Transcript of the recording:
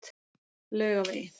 Laugavegi